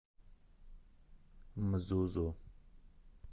мзузу